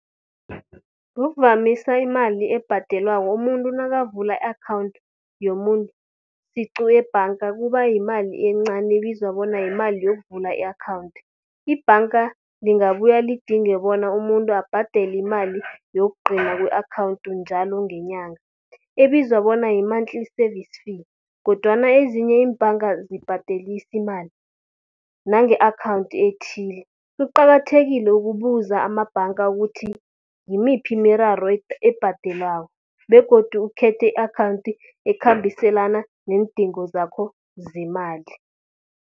Ngokuvamisa imali ebhadelwako umuntu nakavula i-akhawunti yomuntu siqu ebhanga kuba yimali encani, ebizwa bona yimali yokuvula i-akhawunti. Ibhanga lingabuya lidinge bona umuntu abhadele imali yokugcina ku-akhawunti njalo ngenyanga. Ebizwa bona yi-monthly service fee kodwana ezinye iimbhanga azibhadelisi imali, nange-akhawunti ethile. Kuqakathekile ukubuza amabhanga ukuthi, ngimiphi imiraro ebhadelwako begodu ukhethe i-akhawunti ekhambiselana neendingo zakho zemali.